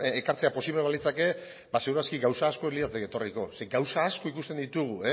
ekartzea posiblea balitzake ba seguru aski gauza asko ez lirateke etorriko zeren gauza asko ikusten ditugu